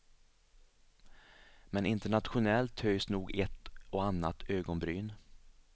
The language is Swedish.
Men internationellt höjs nog ett och annat ögonbryn.